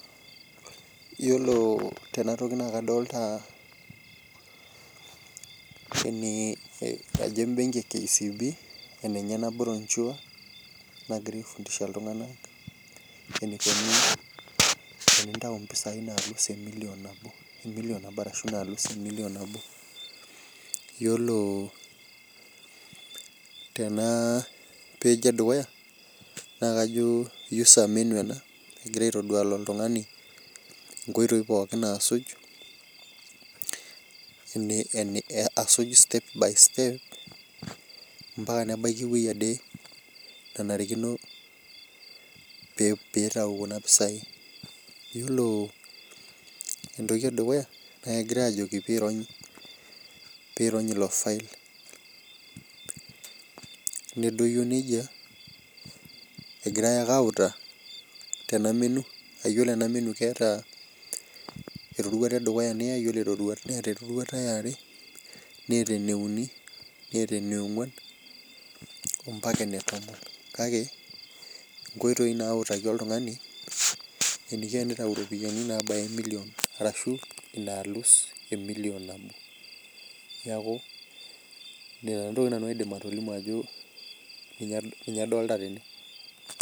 Yiolo tenatoki naa kadolta ajo embenki ekcb enenye enabrochure nagirae aifundisha iltunganak enikoni tenintau impisai emilion nabo ashu nalus emilion nabo . Yiolo tenapage edukuya naa kajo user menu naitodol oltungani nkoitoi pokin nasuj , asuj step by step mpaka nebaiki ewueji ade nenarikino pee itayu kuna pisai .Yiolo entoki edukuya naa kegirae ajoki pirony ilofile , nedoyio nejia ,egirae ake autaa tena menu. Yiolo enamenu keeta iroruat , neata eroruata eare , neata eneuni , neata eneongwan , ompaka enetomon , kake nkoitoi nautaki oltungani eniko enitayu ropiyiani.